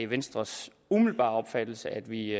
venstres umiddelbare opfattelse at vi